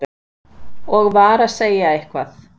og var að segja eitthvað.